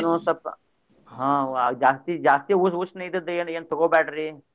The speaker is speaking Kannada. ಅದನು ಒಂದ್ ಸ್ವಲ್ಪ ಅಹ್ ಜಾಸ್ತಿ ಜಾಸ್ತಿ ಉ~ ಉಷ್ಣ ಇದಿದ್ದ ಏನ್ ಏನ್ ತಗೊಬ್ಯಾಡ್ರಿ.